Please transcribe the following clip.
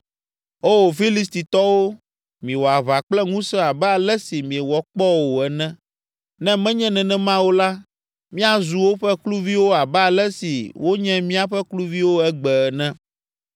Oo, Filistitɔwo, miwɔ aʋa kple ŋusẽ abe ale si miewɔ kpɔ o ene, ne menye nenema o la, míazu woƒe kluviwo abe ale si wonye míaƒe kluviwo egbe ene.”